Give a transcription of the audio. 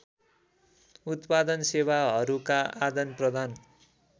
उत्पादन सेवाहरूका आदानप्रदान